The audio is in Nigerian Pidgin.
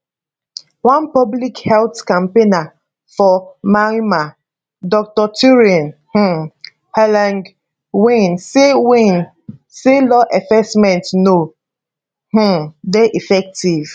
one public health campaigner for myanmar dr thurein um hlaing win say win say law enforcement no um dey effective